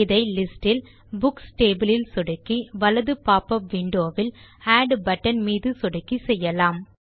இதை லிஸ்ட் இல் books table இல் சொடுக்கி வலது போப்பப் விண்டோ வில் ஆட் பட்டன் மீது சொடுக்கி செய்யலாம்